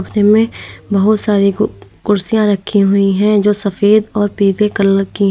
में बहुत सारी कु कुर्सियां रखी हुई हैं जो सफेद और पीले कलर की हैं।